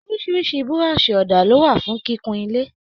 Orísirísi burọ̀sì òdà lo wà fún kíkún ilé.